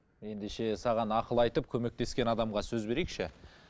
ендеше саған ақыл айтып көмектескен адамға сөз берейікші